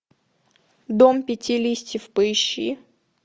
дом пяти листьев поищи